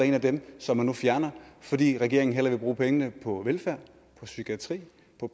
en af dem som man nu fjerner fordi regeringen hellere vil bruge pengene på velfærd psykiatri